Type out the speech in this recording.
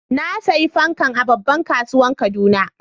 nasiya fankan a babban kasuwan kaduna